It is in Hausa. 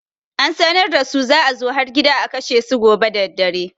An sanar da su za a zo har gida a kashe su gobe daddare.